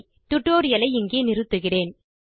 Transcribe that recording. tutorial ஐ இங்கே நிறுத்துகிறேன்